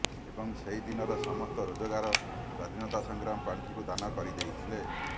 ଏବଂ ସେହିଦିନର ସମସ୍ତ ରୋଜଗାର ସ୍ୱାଧୀନତା ସଂଗ୍ରାମ ପାଣ୍ଠିକୁ ଦାନ କରିଦେଇଥିଲେ